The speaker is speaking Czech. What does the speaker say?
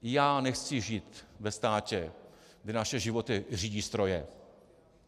Já nechci žít ve státě, kde naše životy řídí stroje.